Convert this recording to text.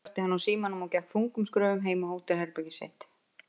Svo slökkti hann á símanum og gekk þungum skrefum heim á hótelherbergið sitt.